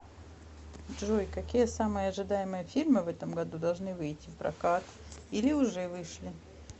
джой какие самые ожидаемые фильмы в этом году должны выити в прокат или уже вышли